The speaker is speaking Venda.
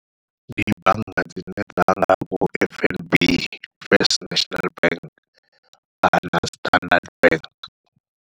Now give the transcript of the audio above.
Ndi bannga dzine dza nga vho F_N_B, First National Bank kana Standard Bank.